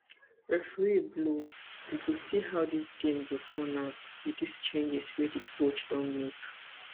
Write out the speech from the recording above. referee blow we go see how di game go turn out wit dis changes wey di coach don make